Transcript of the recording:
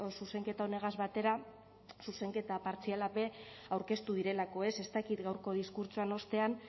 zuzenketa honegaz batera zuzenketa partzialak be aurkeztu direlako ez dakit gaurko diskurtsoan ostean